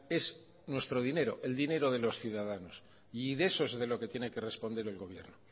es nuestro dinero el dinero de los ciudadanos y de eso es de lo que tiene que responder el gobierno